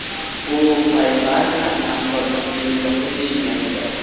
U PayPal bilan hamkorlikni yo‘lga qo‘yish niyatida.